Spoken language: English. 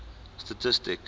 statistic